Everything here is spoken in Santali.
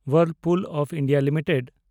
ᱦᱚᱭᱮᱨᱯᱩᱞ ᱚᱯᱷ ᱤᱱᱰᱤᱭᱟ ᱞᱤᱢᱤᱴᱮᱰ